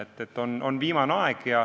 Nii et on viimane aeg.